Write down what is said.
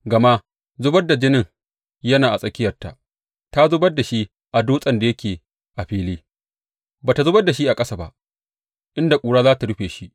Gama zubar da jini yana a tsakiyarta, ta zubar da shi a dutsen da yake a fili; ba tă zubar da shi a ƙasa ba, inda ƙura za tă rufe shi.